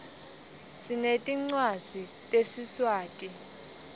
sinetncwadzi tesiswati